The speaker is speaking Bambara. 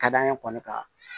Ka d'an ye kɔni ka